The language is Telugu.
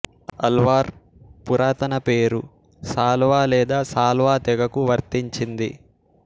అల్వార్ పురాతన పేరు సాల్వా లేదా సాల్వా తెగకు వర్తించింది